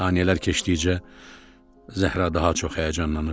Saniyələr keçdikcə Zəhra daha çox həyəcanlanırdı.